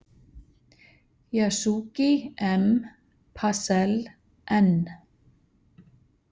Yasugi, M, Passell, N